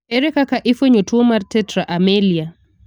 Ere kaka ifuenyo tuo mar tetra amelia?